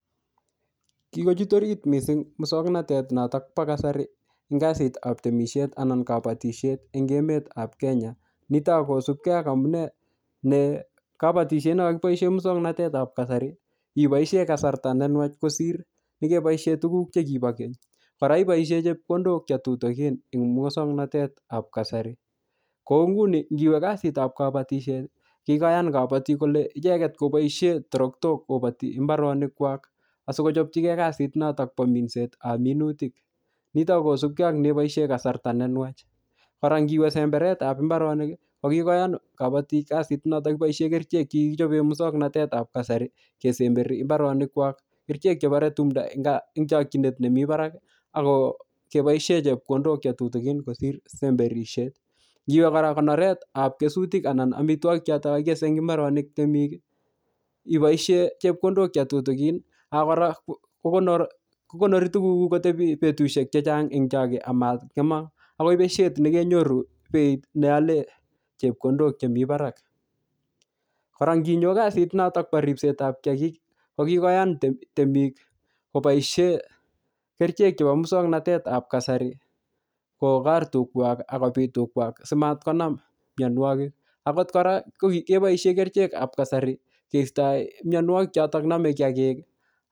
Kikochut orit missing muswoknotet notok po kasari eng kasitab temisiet an kabatisiet eng emet ap Kenya. Nitok akosubkei ak amunee ne kabatisiet ne kakiboise muswoknotetap kasari, iboisie kasarta nenwach kosir nekeboisie tuguk che kibo keny. Kora iboisie chepkondok che tutukin eng muswoknotetap kasari. Kou nguni ngiwe kasitap kabatisiet, kikoyan kabatik kole icheket koboisie toroktok kobati mbaronik kwak. Asikochopchikei kasit notok bo minsetab minutik. Nitok ko kosubkei ak neiboisie kasarta nenwach. Kora ngiwe semberetap mbaronik, ko kikoyan kabatik kasit notok kiboisie kerichek che kikichope muswokanotetap kasari, kesemberi mbaronik kwak. Kerichek chebare tumdo eng, eng chakchinet nemii barak, ako che boisie chepkondok che tutukin kosir semberisiet. Ngiwe kora konoretap kesutik anan amitwogik chotok kakikese eng mbaronik temik, iboisie chepkondok che tutukin, ak kora ko konori-ko konori tuguk kuk kotebi betusiek chechang eng choge amang'emak. Akoi besiet nekenyoru beit neale chepkondok chemii barak. Kora nginyo kasit notok bo ripsetap kiyagik, ko kikoyan temi-temik koboisie kerichek chebo muswoknotetab kasari kokor tugwak akobit tugwak simatkonam mianwogik. Akot kora, ko keboisie kerichek ap kasari keistoi mianwogik chotok name kiyagik.